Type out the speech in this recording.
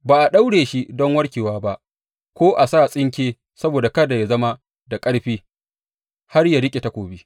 Ba a daure shi don warkarwa ba ko a sa tsinke saboda kada yă zama da ƙarfi har ya riƙe takobi.